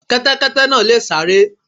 Kẹ́tẹ́kẹ́tẹ́ náà sáré.